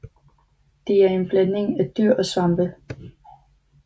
De er en blanding af dyr og svampe